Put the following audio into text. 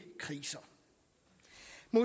nu